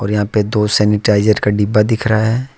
और यहां पे दो सैनिटाइजर का डिब्बा दिख रहा है।